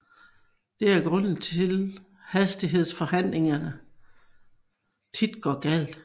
Det er grunden til at hastighedsforhandlingen tit går galt